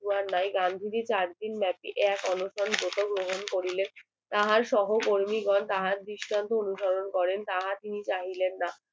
লাই গাঙ্গুলি চার দিন ব্যাপী এক অনশন গ্রহণ করিলে তাহার সোহো কর্মী গণ তাহার বিষয় অনুসরণ করেন তাহার